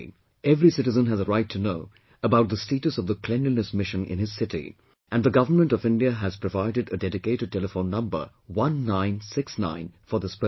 Every citizen has a right to know about the status of the cleanliness mission in his city and the Government of India has provided a dedicated telephone number 1969 for this purpose